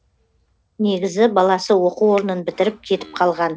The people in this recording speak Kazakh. негізі баласы оқу орнын бітіріп кетіп қалған